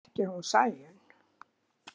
Ekki hún Sæunn.